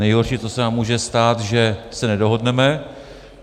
Nejhorší, co se nám může stát, že se nedohodneme.